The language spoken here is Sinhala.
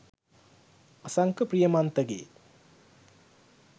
අසංක ප්‍රියමන්තගෙ '